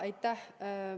Aitäh!